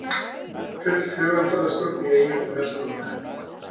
Full flugumferðarstjórn í Eyjum um verslunarmannahelgina